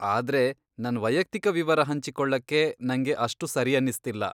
ಆದ್ರೆ ನನ್ ವೈಯಕ್ತಿಕ ವಿವರ ಹಂಚಿಕೊಳ್ಳಕ್ಕೆ ನಂಗೆ ಅಷ್ಟು ಸರಿಯನ್ನಿಸ್ತಿಲ್ಲ.